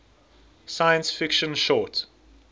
science fiction short